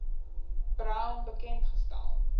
brown bekend gestel